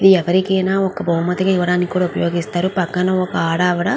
ఎవరికైనా భావుమతి ఇవడానికి ఇది ఉపయోగపడుతుంది. పక్కన ఒక ఆడవిడా --